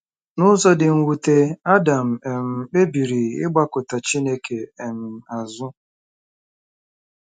N'ụzọ dị mwute, Adam um kpebiri ịgbakụta Chineke um azụ.